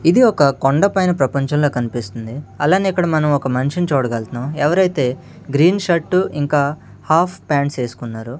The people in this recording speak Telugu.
ఇది ఒక కొండపైన ప్రపంచంలా కనిపిస్తుంది అలానే ఇక్కడ మనం ఒక మనిషిని చూడగల్తున్నాం ఎవరైతే గ్రీన్ షర్టు ఇంకా హాఫ్ పాంట్స్ ఏసుకున్నారో.